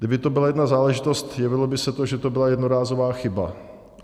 Kdyby to byla jedna záležitost, jevilo by se to, že to byla jednorázová chyba.